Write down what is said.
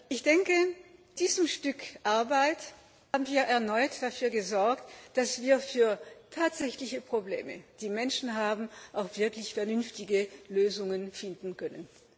Ich denke, mit diesem Stück Arbeit haben wir erneut dafür gesorgt, dass wir für tatsächliche Probleme, die Menschen haben, auch wirklich vernünftige Lösungen finden können.